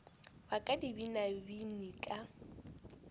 wa ka di binabine ka